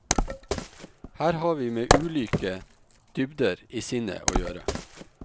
Her har vi med ulike dybder i sinnet å gjøre.